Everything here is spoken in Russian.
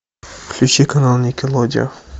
включи канал никелодеон